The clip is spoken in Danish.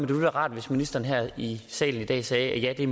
ville være rart hvis ministeren her i salen i dag sagde at det